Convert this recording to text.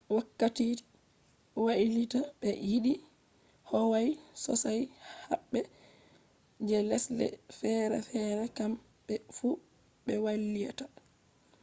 wakkati french wailita be yidi howawe sosai habbe je lesde fere-fere kam be fu be wailita